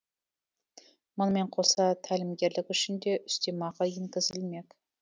мұнымен қоса тәлімгерлік үшін де үстемақы енгізілмек